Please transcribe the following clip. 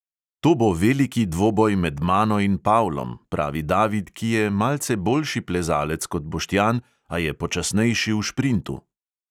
To bo veliki dvoboj med mano in pavlom, pravi david, ki je malce boljši plezalec kot boštjan, a je počasnejši v šprintu.